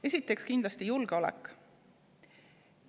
Esiteks kindlasti julgeolek.